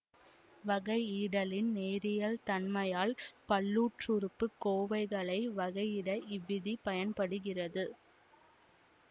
வகையிடலின் நேரியல் தன்மையால் பல்லுறுப்புக்கோவைகளை வகையிட இவ்விதி பயன்படுகிறது